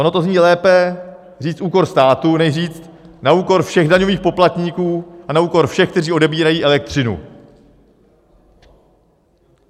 Ono to zní lépe říct: úkor státu než říct: na úkor všech daňových poplatníků a na úkor všech, kteří odebírají elektřinu.